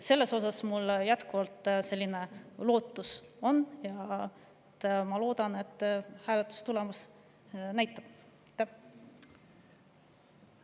Selles osas on mul jätkuvalt lootus ja ma loodan, et hääletustulemus.